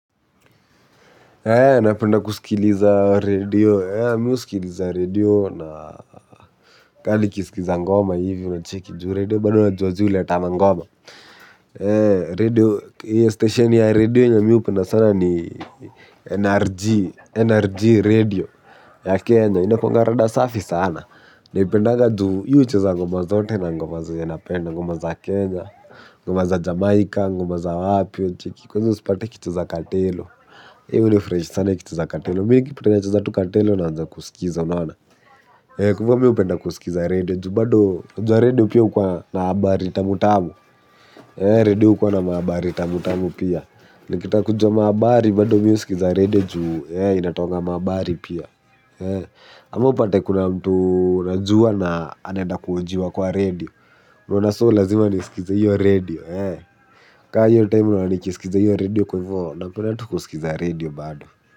Napenda kuskiliza redio, mimi husikiliza redio na kaa nikisikiza ngoma hivi unacheki juu redio bana unajua zi huleta mangoma. Na redio hiyo station ya redio yenye mi hupenda sana ni NRG, NRG redio ya Kenya. Inakuwanga rada safi sana. Naipendanga ju hiyo hucheza ngoma zote na ngoma zenya napenda, ngoma za Kenya, ngoma za Jamaica, ngoma za wapi, unacheki. Kwa hivyo sipati kitu katelo. Hiyo hunifurahisha sana ikicheza katelo. Mi kitu inacheza tu katelo naanza kusikiza. Unaona? Kwa hivo mimi hupenda kusikiza redio ju bado unajua radio pia hukua na habari tamutamu. Radio hukua na mahabari tamutamu pia. Nikitaka kujua mahabari bado mi husikiza radio juu inatoangamahaabari pia. Ama upate kuna mtu najua na anaenda kuhojiwa kwa radio. Unaona so lazima nisikize hiyo radio. Kaa hivyo time unaona nikisikiza hiyo radio kwa hivyo napenda tu kusikiza radio bado.